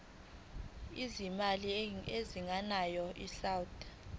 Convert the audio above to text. lwezimali ezingenayo isouth